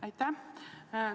Aitäh!